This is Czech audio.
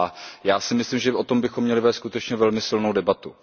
A já si myslím, že o tom bychom měli vést skutečně velmi silnou debatu.